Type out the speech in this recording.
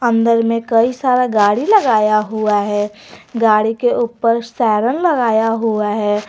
अंदर में कई सारा गाड़ी लगाया हुआ है गाड़ी के ऊपर सायरन लगाया हुआ है।